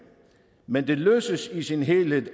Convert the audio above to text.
men det løses i sin helhed